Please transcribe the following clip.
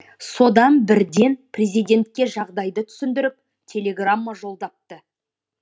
содан бірден президентке жағдайды түсіндіріп телеграмма жолдапты